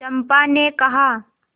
चंपा ने कहा